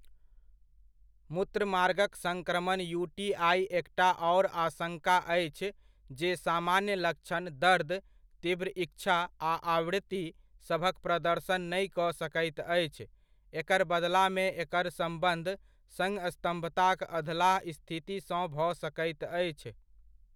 मूत्रमार्गक संक्रमण यू.टी.आइ. एकटा आओर आशङ्का अछि जे सामान्य लक्षण, दर्द, तीव्र इच्छा आ आवृत्ति सभक प्रदर्शन नहि कऽ सकैत अछि, एकर बदलामे एकर सम्बन्ध संस्तम्भताक अधलाह स्थितिसँ भऽ सकैत अछि।